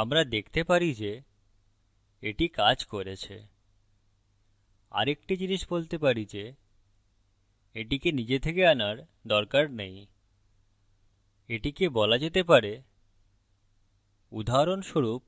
আমরা দেখতে পারি যে এটি কাজ করেছে আরেকটা জিনিস বলতে পারি যে এটিকে নিজে থেকে আনার দরকার নেই এটিকে বলা যেতে পারে উদাহরস্বরূপ